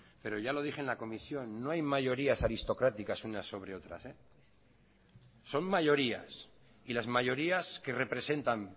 pero ya lo dije en la comisión no hay mayorías aristocráticas unas sobre otras son mayorías y las mayorías que representan